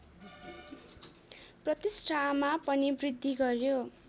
प्रतिष्ठामा पनि वृद्धि गर्‍यो